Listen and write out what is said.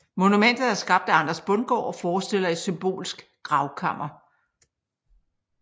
Monumentet er skabt af Anders Bundgaard og forestiller et symbolsk gravkammer